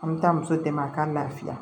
An bɛ taa muso dɛmɛ a ka lafiya